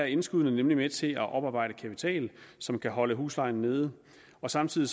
indskuddene nemlig med til at oparbejde kapital som kan holde huslejen nede og samtidig